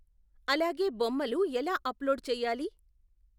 అలాగే బొమ్మలు ఎలా అప్లోడు చెయ్యాలి.